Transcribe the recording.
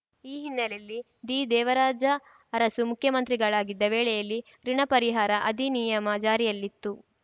ಈ ಹಿನ್ನೆಲೆಯಲ್ಲಿ ದಿದೇವರಾಜ ಅರಸು ಮುಖ್ಯಮಂತ್ರಿಗಳಾಗಿದ್ದ ವೇಳೆಯಲ್ಲಿ ಋುಣ ಪರಿಹಾರ ಅಧಿನಿಯಮ ಜಾರಿಯಲ್ಲಿತ್ತು